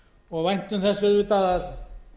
og væntum þess auðvitað að